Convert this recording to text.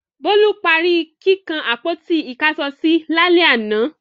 Bólú parí kíkan àpótí-ìkáṣọsí lálẹ́ àná.